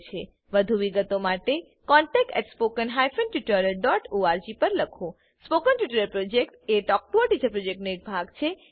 વધુ વિગતો માટે contactspoken tutorialorg પર લખો spoken tutorial project talk to a teacher પ્રોજેક્ટનો એક ભાગ છે